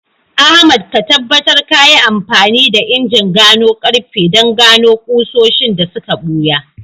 Ahmad, ka tabbatar ka yi amfani da injin gano karfe don gano ƙusoshin da suka ɓuya